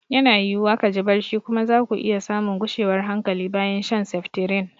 Yana yiwuwa ka ji barci kuma za ku iya samun gushewar hankali bayan shan seftirin.